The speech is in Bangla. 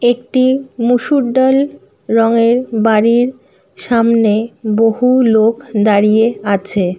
একটি মুশুর ডাল রং এর বাড়ির সামনে বহু লোক দাঁড়িয়ে আছে।